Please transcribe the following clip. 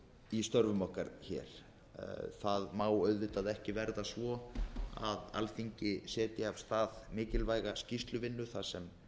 í störfum okkar það má auðvitað ekki verða svo að alþingi setji af stað mikilvæga skýrsluvinnu þar